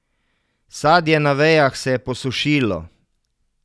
Sadje na vejah se je posušilo.